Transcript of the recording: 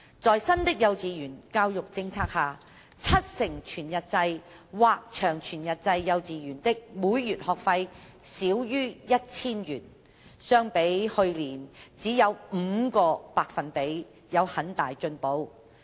在新的幼稚園教育政策下，七成全日制或長全日制幼稚園的每月學費少於 1,000 元，相比去年只有 5% 有很大進步。